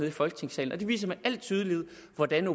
i folketingssalen det viser med al tydelighed hvordan